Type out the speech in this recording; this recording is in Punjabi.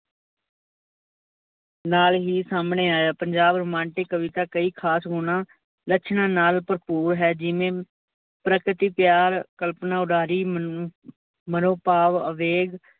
ਨਾਲ ਹੀ ਸਾਮਣੇ ਆਇਆ। ਪੰਜਾਬ ਰੋਮਾਂਟਿਕ ਕਵਿਤਾ ਕਈ ਖਾਸ ਗੁਣਾ ਲੱਛਣਾਂ ਨਾਲ ਭਰਪੂਰ ਹੈ, ਜਿਵੇਂ ਪ੍ਰਕਿਤੀ ਪਿਆਰ ਕਲਪਨਾ ਉਡਾਰੀ ਮਨੋਭਾਵ ਅਵੇਗ